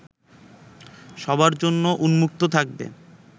সবার জন্য উন্মুক্ত থাকবে